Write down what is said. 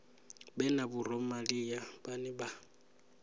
vhe na vhoramilayo vhane vha